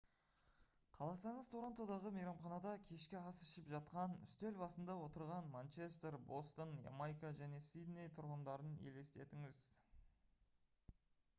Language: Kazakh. қаласаңыз торонтодағы мейрамханада кешкі ас ішіп жатқан үстел басында отырған манчестер бостон ямайка және сидней тұрғындарын елестетіңіз